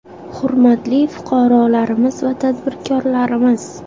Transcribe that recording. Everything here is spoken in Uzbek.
Hurmatli fuqarolarimiz hamda tadbirkorlarimiz!